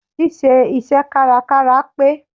Ṣí ṣe iṣẹ́ kárakára pé.